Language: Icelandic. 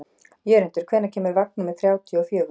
Jörundur, hvenær kemur vagn númer þrjátíu og fjögur?